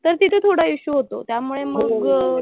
तर तिथे थोडा इश्यू होतो. त्यामुळे मग,